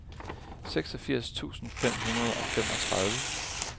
seksogfirs tusind fem hundrede og femogtredive